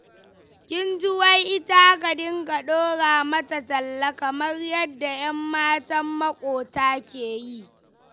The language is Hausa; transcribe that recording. Kin ji wai ita a dinga ɗora mata talla kamar yadda ƴammatan moƙota ke yi.